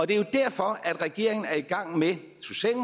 det er jo derfor at regeringen er i gang med